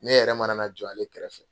Ne yɛrɛ mana na jɔ ale kɛrɛfɛ